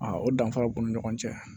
A o danfara b'u ni ɲɔgɔn cɛ